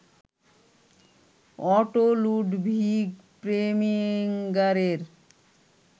auto Ludwig প্রেমিঙারের